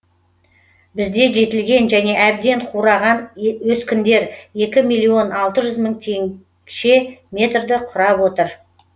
бізде жетілген және әбден қураған өскіндер екі миллион алты жүз мың теңше метрді құрап отыр